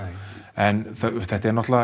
en þetta er